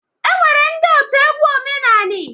E nwere ndị otu egwu omenanị.